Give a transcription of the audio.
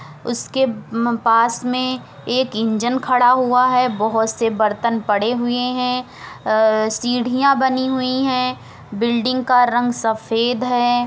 उसके पास में एक इंजन खड़ा हुआ है। बहुत से बर्तन पड़े हुए हैं। सीढ़ियाँ बनी हुई हैं। बिल्डिंग का रंग सफ़ेद है।